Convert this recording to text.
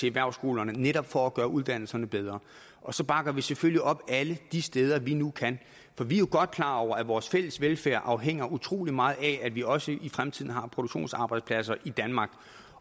erhvervsskolerne netop for at gøre uddannelserne bedre og så bakker vi selvfølgelig op alle de steder vi nu kan for vi er jo godt klar over at vores fælles velfærd afhænger utrolig meget af at vi også i fremtiden har produktionsarbejdspladser i danmark